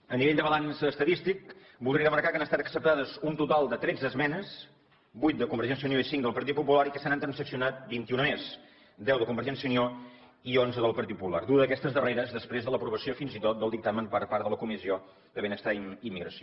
a nivell de balanç estadístic voldria remarcar que han estat acceptades un total de tretze esmenes vuit de convergència i unió i cinc del partit popular i que se n’han transaccionat vint i una més deu de convergència i unió i onze del partit popular dues d’aquestes darreres després de l’aprovació fins i tot del dictamen per part de la comissió de benestar i immigració